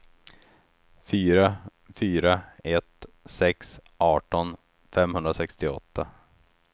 fyra fyra ett sex arton femhundrasextioåtta